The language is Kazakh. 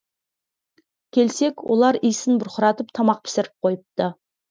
келсек олар иісін бұрқыратып тамақ пісіріп қойыпты